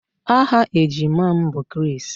Aha ejima m bụ Chris